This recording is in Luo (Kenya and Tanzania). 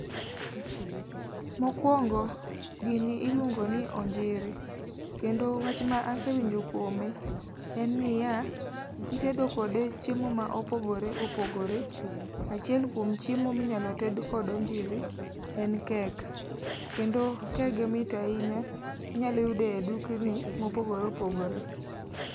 Mokwongo gini iluongo ni onjiri, kendo wach ma asewinjo kuome. En niya, itedo kode chiemo mopogore opogore, achiel kuom chiemo minyalo ted kod onjiri, en kek. Kendo kege mit ahinya, inyalo yude e dukni, mopogore opogore.